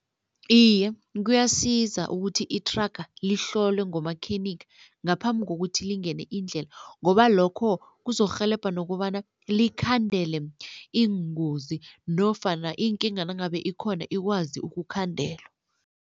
Iye kuyasiza ukuthi ithraga lihlolwe ngumakhenikha ngaphambi kokuthi lingene indlela ngoba lokho kuzokurhelebha nokobana likhandele iingozi nofana iinkinga nangabe ikhona ikwazi ukukhandelwa.